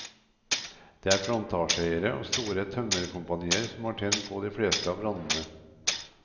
Det er plantasjeeiere og store tømmerkompanier som har tent på de fleste av brannene.